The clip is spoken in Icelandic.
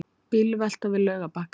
Bílvelta við Laugarbakka